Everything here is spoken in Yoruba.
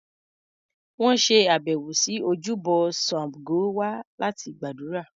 Wọn ṣe àbẹ̀wò sí ojúbọ Sabgo wa láti gbàdúrà.